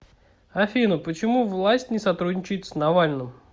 афина почему власть не сотрудничает с навальным